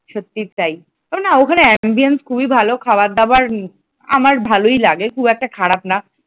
সত্যিই তাই ও না ওখানে ambience খুবই ভালো খাবার দাবার আমার ভালই লাগে খুব একটা খারাপ না